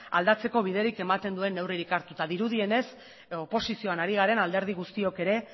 aldatzeko biderik ematen duen neurririk hartuta dirudienez oposizioan ari garen alderdi guztiok ere